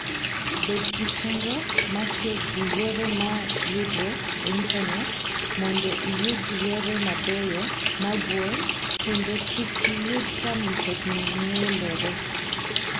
Bed gi chenro mar tiyo gi yore ma yudore e Intanet mondo iyud yore mabeyo mag wuoth kendo kik iyud ka mtokni ng'ielore.